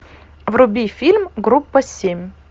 вруби фильм группа семь